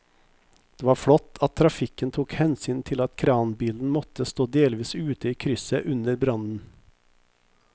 Det var flott at trafikken tok hensyn til at kranbilen måtte stå delvis ute i krysset under brannen.